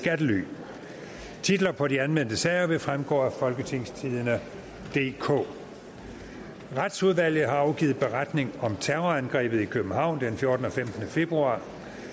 titler på de anmeldte sager vil fremgå af folketingstidende DK retsudvalget har afgivet beretning om terrorangrebet i københavn den fjortende og femtende februar